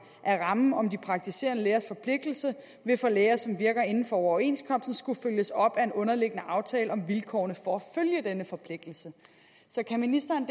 er rammen om de praktiserende lægers forpligtelse vil for læger som virker inden for overenskomsten skulle følges op af en underliggende aftale om vilkårene for at følge denne forpligtelse så kan ministeren